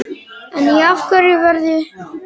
En í hverju verða strákarnir?